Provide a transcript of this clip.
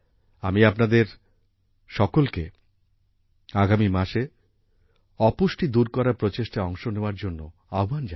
আমি আপনাদের সকলকে আগামী মাসে অপুষ্টি দূর করার প্রচেষ্টায় অংশ নেওয়ার জন্য আহ্বান জানাই